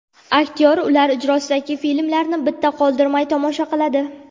Aktyor ular ijrosidagi filmlarni bitta qoldirmay tomosha qiladi.